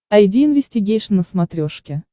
айди инвестигейшн на смотрешке